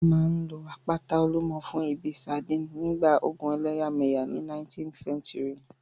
Wọ́n máa n lo àpáta Olúmọ fún ìbí ìsádi nígbà ogun ẹlẹ́yàmẹ̀yà ní 19th century